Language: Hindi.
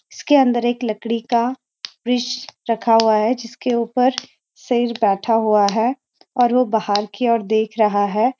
इसके अंदर एक लकड़ी का रखा हुआ है जिसके ऊपर शेर बैठा हुआ है और वह बाहर की ओर देख रहा है।